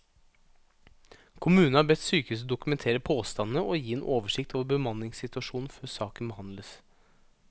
Kommunen har bedt sykehuset dokumentere påstandene og gi en oversikt over bemanningssituasjonen før saken behandles.